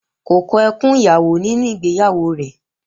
Kò kọ ẹkùn ìyàwó ní ìgbéyàwó rẹ̀